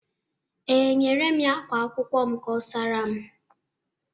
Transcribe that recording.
Ee, enyere m ya ákwá akwụkwọ m ka ọ saara m.